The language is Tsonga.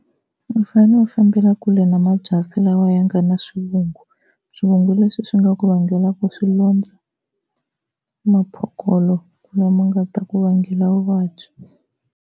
U fanele u fambela kule na mabyasi lawa ya nga na swivungu, swivungu leswi swi nga ku vangelaka swilondza, maphokolo lama nga ta ku vangela vuvabyi.